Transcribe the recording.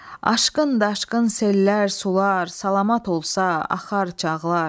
Aşkın, daşqın sellər, sular salamat olsa axar, çağlar.